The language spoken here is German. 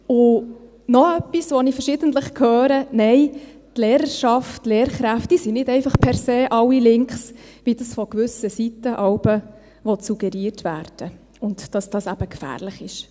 Und noch etwas, was wir verschiedentlich hören: Nein, die Lehrerschaft, die Lehrkräfte sind nicht einfach per se alle links, wie von gewissen Seiten jeweils suggeriert werden will, und dass dies eben gefährlich sei.